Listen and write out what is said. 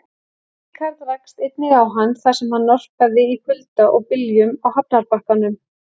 Ríkharð rakst einnig á hann, þar sem hann norpaði í kulda og byljum á hafnarbakkanum.